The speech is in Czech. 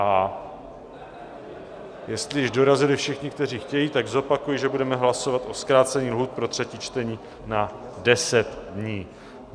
A jestli již dorazili všichni, kteří chtějí, tak zopakuji, že budeme hlasovat o zkrácení lhůt pro třetí čtení na 10 dní.